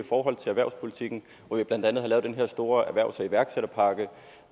erhvervspolitikken hvor vi blandt andet har lavet den her store erhvervs og iværksætterpakke